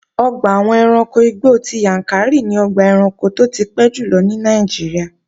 Ọgbà àwọn ẹranko igbó ti Yàǹkàrí ni ọgbà ẹranko tó ti pẹ́ jùlọ ní Nàìjíríà